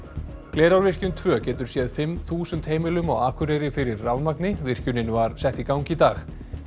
Glerárvirkjun tvö getur séð fimm þúsund heimilum á Akureyri fyrir rafmagni virkjunin var sett í gang í dag